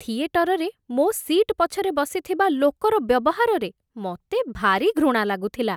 ଥିଏଟରରେ ମୋ' ସି'ଟ୍ ପଛରେ ବସିଥିବା ଲୋକର ବ୍ୟବହାରରେ ମତେ ଭାରି ଘୃଣା ଲାଗୁଥିଲା ।